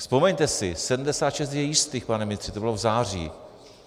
Vzpomeňte si, 76 je jistých, pane ministře, to bylo v září.